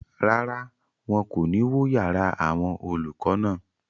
Rárá, wọn kò ní wó yàrá àwọn olùkọ́ náà